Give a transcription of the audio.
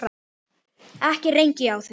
ekki rengi ég þig.